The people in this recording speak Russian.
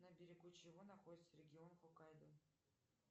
на берегу чего находится регион хоккайдо